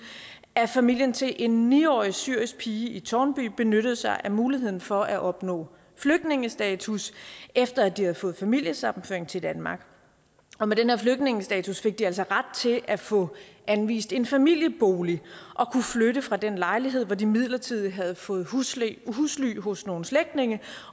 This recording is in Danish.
at familien til en ni årig syrisk pige i tårnby benyttede sig af muligheden for at opnå flygtningestatus efter at de havde fået familiesammenføring til danmark og med den flygtningestatus fik de altså ret til at få anvist en familiebolig og kunne flytte fra den lejlighed hvor de midlertidigt havde fået husly husly hos nogle slægtninge